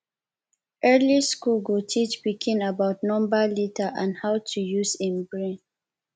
early school go teach pikin about number letter and how to use em brain